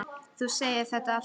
Þú segir þetta alltaf!